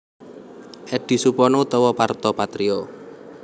Eddy Supono utawa Parto Patrio